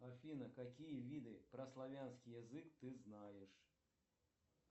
афина какие виды про славянский язык ты знаешь